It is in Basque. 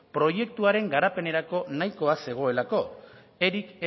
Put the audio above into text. proiektuaren garapenerako nahikoa zegoelako eric